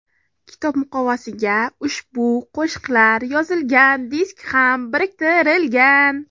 Kitob muqovasiga ushbu qo‘shiqlar yozilgan disk ham biriktirilgan.